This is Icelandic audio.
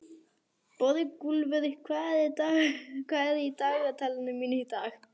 Borgúlfur, hvað er í dagatalinu mínu í dag?